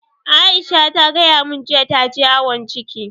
Aisha ta gaya mun jiya ta je awon ciki